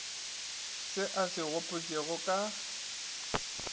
se a se gopotšego ka